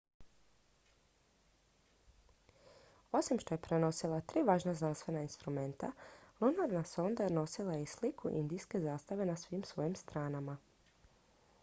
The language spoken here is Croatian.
osim što je prenosila tri važna znanstvena instrumenta lunarna sonda nosila je i sliku indijske zastave na svim svojim stranama